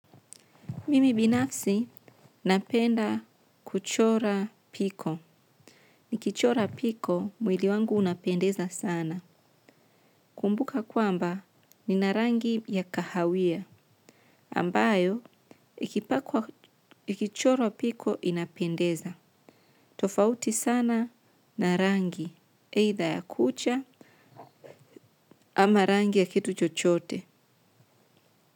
Mimi binafsi napenda kuchora piko. Ni kichora piko mwili wangu unapendeza sana. Kumbuka kwamba nina rangi ya kahawia ambayo ikipakwa ikichorwa piko inapendeza. Tofauti sana na rangi, either ya kucha ama rangi ya kitu chochote.